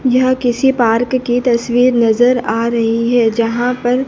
यह किसी पार्क की तस्वीर नजर आ रही है जहां पर--